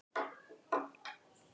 Hún ætlaði ekki að missa af neinu.